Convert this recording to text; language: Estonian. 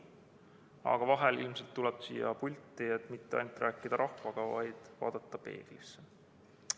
Aga vahel tuleb tulla ilmselt siia pulti, et mitte ainult rääkida rahvaga, vaid vaadata ka peeglisse.